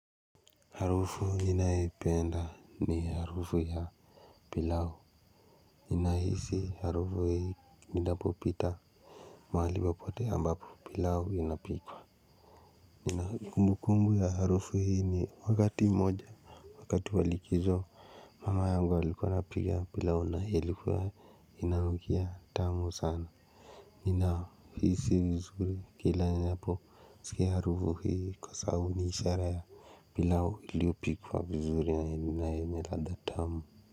Harufu ninayoipenda ni harufu ya pilau. Nina hisi harufu hii nidapo pita mahali popote ambapo pilau inapikwa. Ninakumbukumbu ya harufu hii ni wakati moja. Wakati wa likizo mama yangu alikuwa pika pilau na ilikuwa inanukia tamu sana. Nina hisi vizuri kila ninapo sikia harufu hii kwa sababu ni ishara ya pilau iliyopikwa vizuri na yenye ladha tamu.